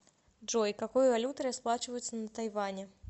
джой какой валютой расплачиваются на тайване